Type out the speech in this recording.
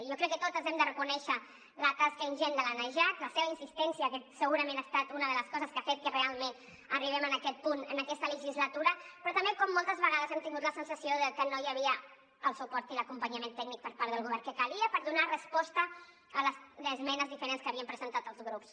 jo crec que totes hem de reconèixer la tasca ingent de la najat la seva insistència que segurament ha estat una de les coses que ha fet que realment arribem en aquest punt en aquesta legislatura però també que moltes vegades hem tingut la sensació de que no hi havia el suport i l’acompanyament tècnic per part del govern que calia per donar resposta a les esmenes diferents que havien presentat els grups